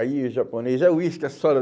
Aí o japonês, é uísque, é soda.